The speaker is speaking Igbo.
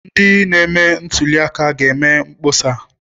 Ndị na-eme ntuli aka ga-eme mkpọsa.